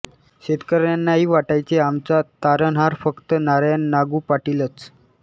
शेतकऱ्यांनाही वाटायचे आमचा तारणहार फक्त नारायण नागू पाटीलच